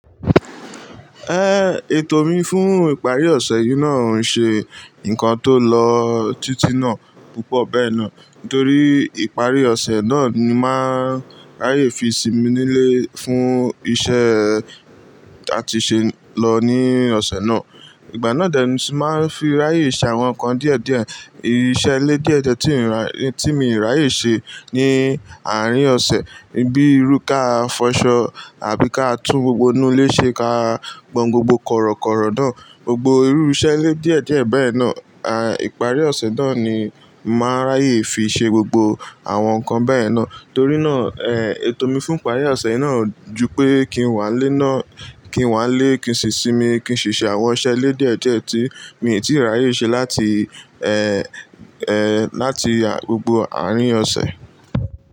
Eh, ètò mi fún ìparí ọ̀sẹ̀ yìí náà ń ṣe ǹkan tó lọ tití náà púpọ̀ bẹ́ẹ̀ náà. Nítorí ìparí ọ̀sẹ̀ náà ni màá n ráyè fi sinmi nílé fún iṣẹ́ a ti ṣe lọ ní ọ̀sẹ̀ náà. Ìgbà náà dẹ ni isi màá n fi ráyè ṣe àwọn ǹkan díẹ̀díẹ̀. Ìsẹ́ ilé díẹ̀díẹ̀ ti n raye tí mi ráyè ṣe ní àárín ọ̀sẹ̀ bíi rú ká fọṣọ àbí ká tún gbogbo inú ilé ṣe ká gbọn gbogbo kọ̀rọ̀kọ̀rọ̀ náà, gbogbo irú iṣẹ́ ilé díẹ̀díẹ̀ bẹ́ẹ̀ náà. À, ìparí ọ̀sẹ̀ náà ni màá ráyè fi ṣe gbogbo àwọn ǹkan bẹ́ẹ̀ náà. Torí náà, eh, ètò mi fún ìparí ọ̀sẹ̀ náà o ju pé kí n wá n lé náà kí n wá lé, kí n si sinmi, kí n ṣi ṣe àwọn iṣẹ́ ilé díẹ̀díẹ̀ tí mi ò tíì ráyè ṣe láti, ẹ, ẹ, láti gbogbo àárín ọ̀sẹ̀.